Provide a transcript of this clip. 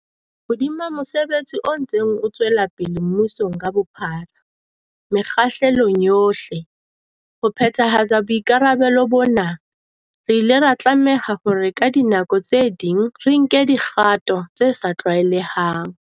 Hodima mosebetsi o ntseng o tswelapele mmusong ka bophara, mekgahlelong yohle, ho phethahatsa boikarabelo bona, re ile ra tlameha hore ka dinako tse ding re nke dikgato tse sa tlwaelehang.